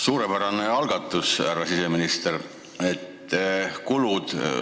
Suurepärane algatus, härra siseminister!